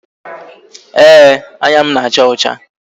Ee, anya m na-acha ọcha